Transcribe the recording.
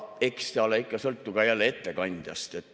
Eks ta ikka sõltu ka ettekandjast.